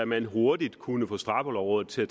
man hurtigt kunne få straffelovrådet til at